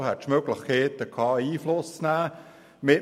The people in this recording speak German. Es hätte Möglichkeiten zur Einflussnahme gegeben.